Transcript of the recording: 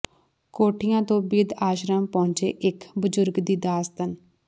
ਕੋਠੀਆਂ ਤੋਂ ਬਿਰਧ ਆਸ਼ਰਮ ਪਹੁੰਚੇ ਇੱਕ ਬਜ਼ੁਰਗ ਦੀ ਦਾਸਤਾਨ